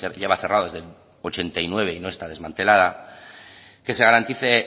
lleva cerrada desde el ochenta y nueve y no está desmantelada